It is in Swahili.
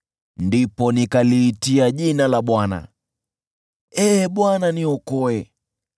Ndipo nikaliitia jina la Bwana : “Ee Bwana , niokoe!”